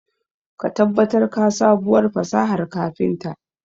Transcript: Ka tabbatar ka sabuwar fasahar kafinta.